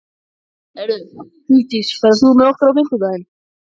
Hugdís, ferð þú með okkur á fimmtudaginn?